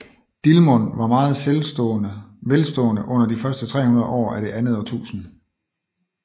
Dilmun var meget velstående under de første 300 år af det andet årtusinde